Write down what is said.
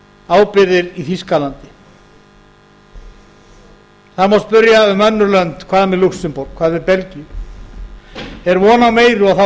ábyrgðir í þýskalandi það má spyrja um önnur lönd hvað með lúxemborg hvað með belgíu er von á meiru og þá